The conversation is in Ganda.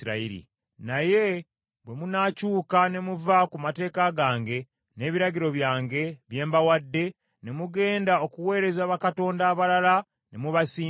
“Naye bwe munaakyuka ne muva ku mateeka gange n’ebiragiro byange bye mbawadde, ne mugenda okuweereza bakatonda abalala ne mubasinza,